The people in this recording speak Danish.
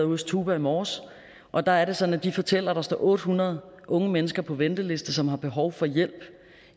hos tuba i morges og der er det sådan at de fortæller at der står otte hundrede unge mennesker på venteliste som har behov for hjælp